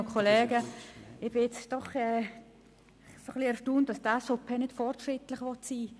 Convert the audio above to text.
Es erstaunt mich nun doch etwas, dass die SVP nicht fortschrittlich sein will.